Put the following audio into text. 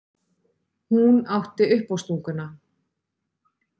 Hún átti uppástunguna.